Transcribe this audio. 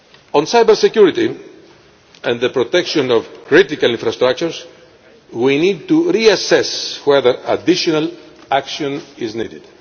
On cybersecurity and the protection of critical infrastructures, we need to reassess whether additional action is needed.